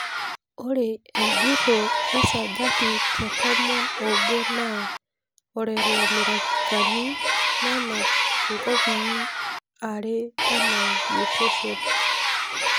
Ore ejuro esajati te tomon obo naa orelamerikani nenap nkopii are ena mutation.